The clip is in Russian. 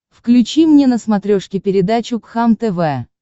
включи мне на смотрешке передачу кхлм тв